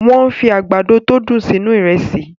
Wọ́n fi àgbàdo tó dùn sínú Ìrẹ́sì